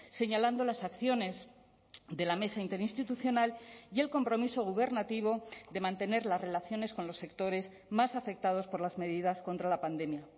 señalando las acciones de la mesa interinstitucional y el compromiso gubernativo de mantener las relaciones con los sectores más afectados por las medidas contra la pandemia